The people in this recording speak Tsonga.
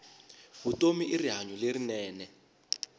vutomi i rihanyu lerinene